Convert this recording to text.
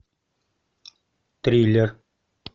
триллер